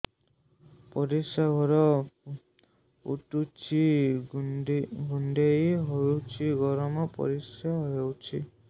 ପରିସ୍ରା ଘର ପୁଡୁଚି କୁଣ୍ଡେଇ ହଉଚି ଗରମ ପରିସ୍ରା ହଉଚି